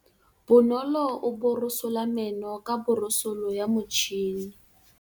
Bonolô o borosola meno ka borosolo ya motšhine.